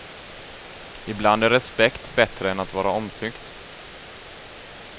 Ibland är respekt bättre än att vara omtyckt.